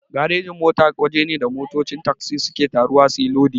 Garejin-mota waje ne da motocin tagzi suke taruwa suyi lodi.